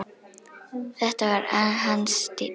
Þetta var hans stíll!